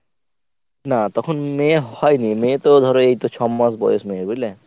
না তখন মেয়ে হয়নি। মেয়েতো ধর এইতো ছ’মাস বয়স মেয়ের বুঝলে?